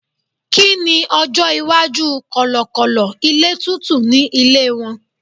kini ọjọ iwaju kọlọkọlọ ilé tútù ni ilé won